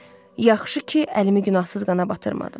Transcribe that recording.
Yaxşı ki, əlimi günahsız qana batırmadım.